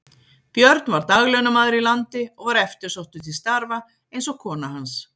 Björn var daglaunamaður í landi og var eftirsóttur til starfa eins og kona hans.